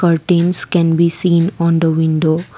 Curtains can be seen on the window.